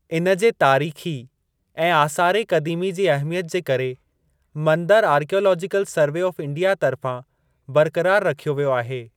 इन जे तारीख़ी ऐं आसारे क़दीमी जी अहमियत जे करे मंदरु आरकियालाजीकल सर्वे ऑफ़ इंडिया तर्फ़ां बरक़रार रखियो वियो आहे।